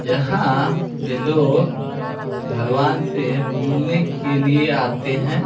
यहाँ पे लोग भगवान से मिलने के लिए आते हैं ।